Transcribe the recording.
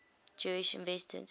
jewish inventors